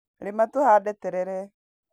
Rĩma tũhande terere.